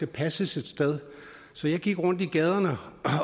passes et sted så jeg gik rundt i gaderne